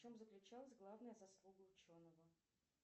в чем заключалась главная заслуга ученого